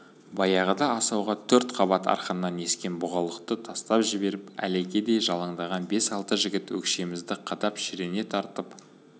баяғыда асауға төрт қабат арқаннан ескен бұғалықты тастап жіберіп әлекедей жалаңдаған бес-алты жігіт өкшемізді қадап шірене тартып